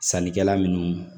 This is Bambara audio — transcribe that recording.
Sannikɛla minnu